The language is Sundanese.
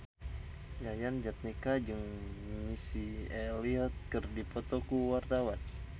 Yayan Jatnika jeung Missy Elliott keur dipoto ku wartawan